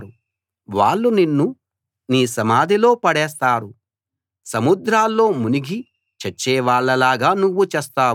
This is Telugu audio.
వాళ్ళు నిన్ను నీ సమాధిలో పడేస్తారు సముద్రాల్లో మునిగి చచ్చేవాళ్ళలాగా నువ్వు చస్తావు